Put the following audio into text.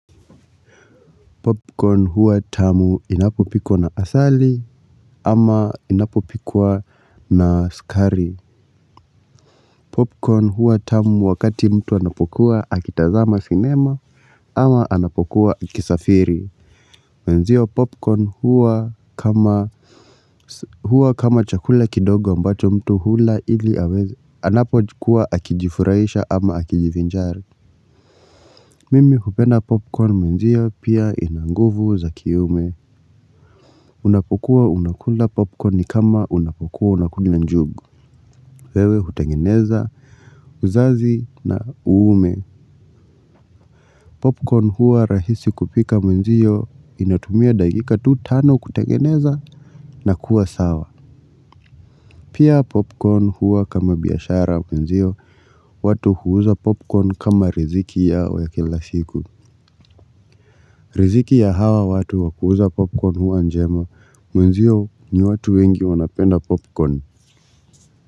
Popcorn huwa tamu inapopikwa na asali ama inapopikwwa na sukari. Popcorn hua tamu wakati mtu anapokuwa akitazama sinema ama anapokuwa akisafiri. Mwenzio popcorn huwa kama huwa kama chakula kidogo ambacho mtu hula ili aweze anapokuwa akijifurahisha ama akijivinjari. Mimi kupenda popcorn mwenzio pia ina nguvu za kiume. Unapokuwa unakula popcorn kama unapokuwa unakula njugu. Wewe hutengeneza uzazi na uume. Popcorn huwa rahisi kupika mwenzio inatumia dakika tu tano kutangeneza na kuwa sawa. Pia popcorn huwa kama biashara mwenzio watu huuza popcorn kama riziki yao ya kila siku. Riziki ya hawa watu wa kuuza popcorn huwa njema mwenzio ni watu wengi wanapenda popcorn.